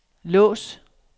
lås